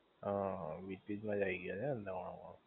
હઅ, beach beach મજા આઈ ગઈ હશે ને દમણ માં?